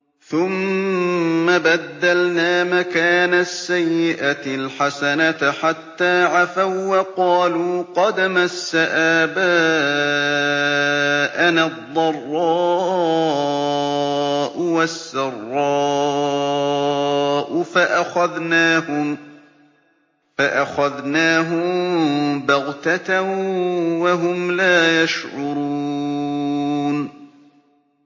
ثُمَّ بَدَّلْنَا مَكَانَ السَّيِّئَةِ الْحَسَنَةَ حَتَّىٰ عَفَوا وَّقَالُوا قَدْ مَسَّ آبَاءَنَا الضَّرَّاءُ وَالسَّرَّاءُ فَأَخَذْنَاهُم بَغْتَةً وَهُمْ لَا يَشْعُرُونَ